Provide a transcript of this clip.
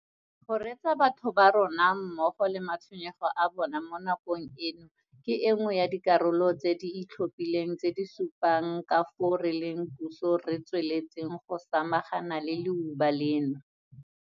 Go reetsa batho ba rona mmogo le matshwenyego a bona mo na-kong eno ke e nngwe ya dikarolo tse di itlhophileng tse di supang ka fao re leng puso re tsweletseng go samagana le leuba leno.